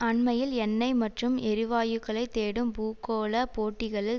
அண்மையில் எண்ணெய் மற்றும் எரிவாயுக்களை தேடும் பூகோள போட்டிகளில்